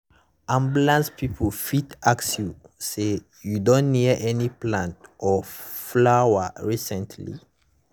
ambulance people fit ask you say “you don near any plant or flower recently?”